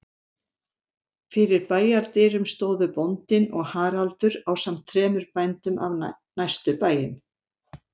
Fyrir bæjardyrum stóðu bóndinn og Haraldur ásamt þremur bændum af næstu bæjum.